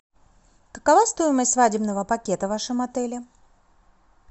какова стоимость свадебного пакета в вашем отеле